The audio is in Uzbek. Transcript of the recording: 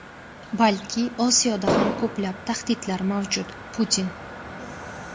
balki Osiyoda ham ko‘plab tahdidlar mavjud – Putin.